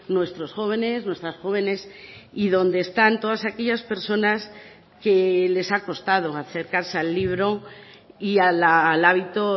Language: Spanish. nuestros jóvenes nuestras jóvenes y donde están todas aquellas personas que les ha costado acercarse al libro y al hábito